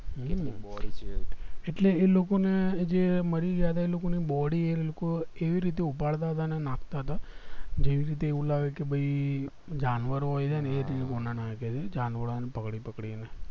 એટલે ઈ લોકો ને જે મરી ગયા છે એ લોકો ને body એ લોકો એવી રીતે ઉપાડતા હતા ના અને નાખતા હતા જે રીતે એવું લાગે કે ભય જાનવરો હોય છે ને જાનવર ને પકડી પકડી ને